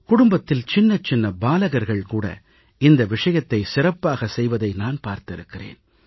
குடும்பத்தில் சின்னச்சின்ன பாலகர்கள் கூட இந்த விஷயத்தை சிறப்பாக செய்வதை நான் பார்த்திருக்கிறேன்